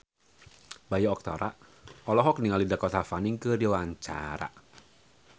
Bayu Octara olohok ningali Dakota Fanning keur diwawancara